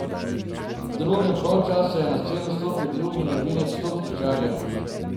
V drugem polčasu je na sceno stopil drugi novinec topničarjev.